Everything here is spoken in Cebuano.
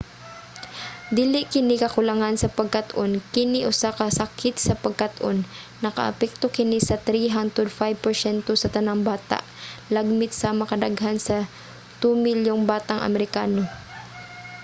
dili kini kakulangan sa pagkat-on kini usa ka sakit sa pagkat-on; nakaapekto kini sa 3 hangtod 5 porsyento sa tanang bata lagmit sama ka daghan sa 2 milyong batang amerikano